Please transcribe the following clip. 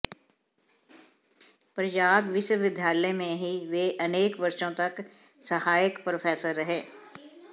प्रयाग विश्वविद्यालय में ही वे अनेक वर्षों तक सहायक प्रोफेसर रहे